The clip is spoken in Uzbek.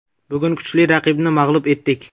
Bugun kuchli raqibni mag‘lub etdik.